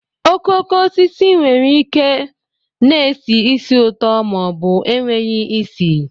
Okooko osisi nwere ike na-esi ísì ụtọ ma ọ bụ enweghị isi